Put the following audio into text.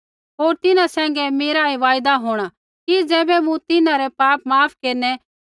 होर तिन्हां सैंघै मेरा ऐ वायदा होंणा कि ज़ैबै मूँ तिन्हां रै पाप माफ़ केरनै